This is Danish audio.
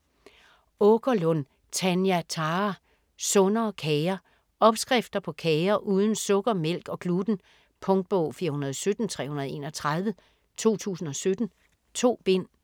Aakerlund, Tanja Thara: Sundere kager Opskrifter på kager uden sukker, mælk og gluten. Punktbog 417331 2017. 2 bind.